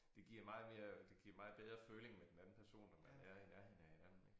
Det giver meget mere det giver meget bedre føling med den anden person når man er i nærheden af hinanden ik